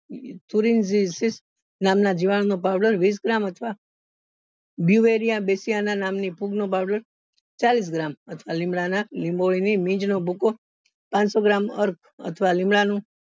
નામ ના જીવાણું નો powder વીસ gram અથવા નામ ની ફૂગ નો powder ચાલીસ gram અથવા લીમડા ના લીંબોળી ની મીંજ નો ભૂકો પાંચસો gram અથવા લીમડા નો